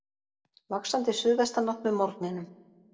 Vaxandi suðvestanátt með morgninum